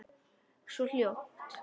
Svo ljótt.